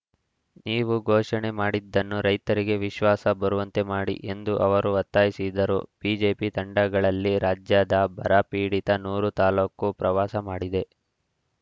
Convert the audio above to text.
ನೀವು ಘೋಷಣೆ ಮಾಡಿದ್ದನ್ನು ರೈತರಿಗೆ ವಿಶ್ವಾಸ ಬರುವಂತೆ ಮಾಡಿ ಎಂದು ಅವರು ಒತ್ತಾಯಿಸಿದರು ಬಿಜೆಪಿ ತಂಡಗಳಲ್ಲಿ ರಾಜ್ಯದ ಬರ ಪೀಡಿತ ನೂರು ತಾಲೂಕು ಪ್ರವಾಸ ಮಾಡಿದೆ